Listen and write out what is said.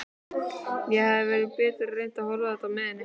Ég hefði betur reynt að horfa á þetta með henni.